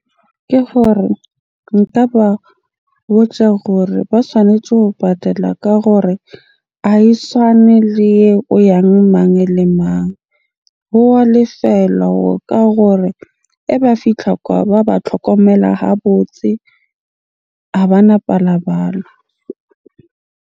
Ke gore nka ba hore ba tshwanetje ho patala ka gore ha e swane le o yang mang le mang? Ho wa lefelwa hore ka hore eba fitlha kwa ba ba tlhokomela ha botse, ha bana .